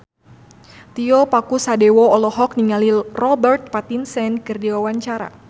Tio Pakusadewo olohok ningali Robert Pattinson keur diwawancara